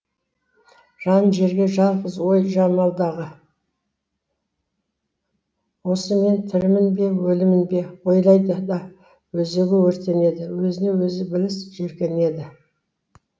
жанын жеген жалғыз ой жамалдағы осы мен тірімін бе өлімін бе ойлайды да өзегі өртенеді өзіне өзі ібіліс жеркенеді